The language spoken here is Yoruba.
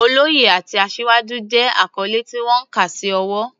Oloye" àti "Asiwaju" jẹ́ àkọ́lé tí wọ́n kà sí ọ̀wọ̀.